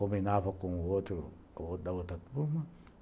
Combinava com o outro da outra turma.